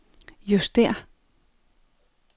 justér